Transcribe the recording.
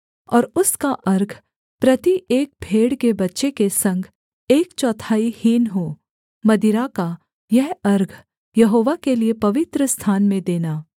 और उसका अर्घ प्रति एक भेड़ के बच्चे के संग एक चौथाई हीन हो मदिरा का यह अर्घ यहोवा के लिये पवित्रस्थान में देना